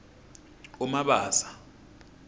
umabasa